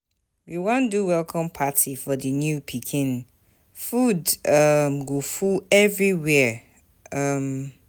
We wan do welcome party for di new pikin, food um go full everywhere. um